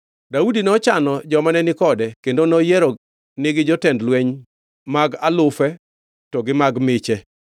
Daudi nochano joma ne ni kode kendo noyieronigi jotend lweny mag alufe to gi mag miche.